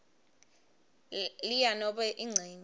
lea nobe incenye